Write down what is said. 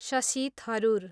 Shashi Tharoor